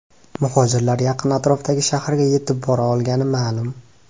Muhojirlar yaqin atrofdagi shaharga yetib bora olgani ma’lum.